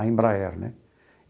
A Embraer, né?